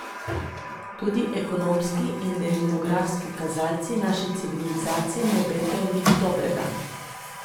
Tudi ekonomski in demografski kazalci naši civilizaciji ne obetajo nič dobrega.